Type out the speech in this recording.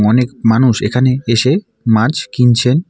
অনেক মানুষ এখানে এসে মাছ কিনছেন।